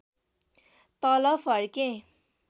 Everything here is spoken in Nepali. तल फर्के